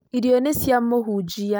irio nĩ cia muhunjia